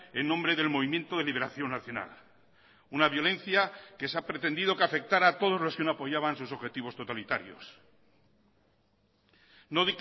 en nombre del movimiento de liberación nacional una violencia que se ha pretendido que afectará a todos los que no apoyaban sus objetivos totalitarios no